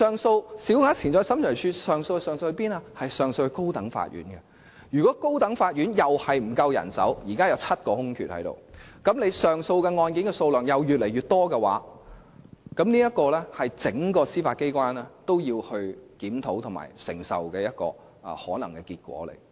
審裁處的上訴案件會交由高等法院處理，而高等法院亦同樣沒有足夠人手，現時共有7個空缺，於是上訴案件的數量又會不斷增加，這是整個司法機構也要檢討及可能承受的結果。